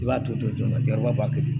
I b'a ton ton ka jɔrɔ wa kelen di